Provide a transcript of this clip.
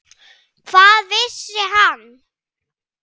Hvað vissi hann?